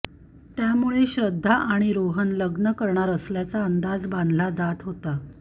त्यामुळे श्रद्धा आणि रोहन लग्न करणार असल्याचा अंदाज बांधला जात होता